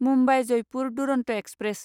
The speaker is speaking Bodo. मुम्बाइ जयपुर दुरन्त एक्सप्रेस